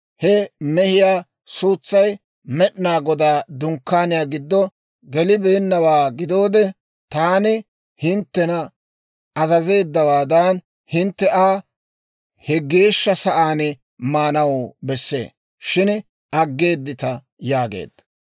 He mehiyaa suutsay Med'inaa Godaa Dunkkaaniyaa giddo gelibeennawaa gidoode, taani hinttena azazeeddawaadan, hintte Aa he geeshsha sa'aan maanaw bessee; shin aggeeddita» yaageedda.